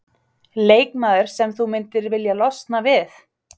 Leikmaður sem þú myndir vilja losna við?